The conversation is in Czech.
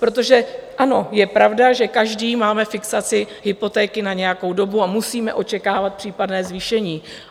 Protože ano, je pravda, že každý máme fixaci hypotéky na nějakou dobu, a musíme očekávat případné zvýšení.